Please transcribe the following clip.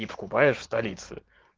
и покупаешь в столице